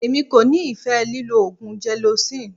Èmi kò nífẹ̀ẹ́ lílọ oògùn gelocin.